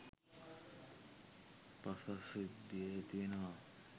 පස්සද්ධිය ඇතිවෙනවා